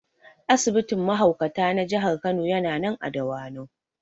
Asibitin mahaukata na Jihar Kano yana nan a Dawanau